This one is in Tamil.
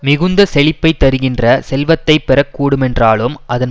மிகுந்த செழிப்பைத் தருகின்ற செல்வத்தை பெற கூடுமென்றாலும் அதன்